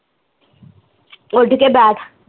ਉੱਡ ਕੇ ਬੈਠ